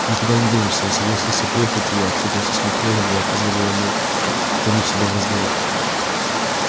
никуда не денешься я согласился приехать и я встретился с михаилом я позволил ему втянуть себя в разговор